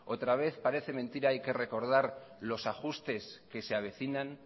otra vez parece mentira hay que recordar los ajustes que se avecinan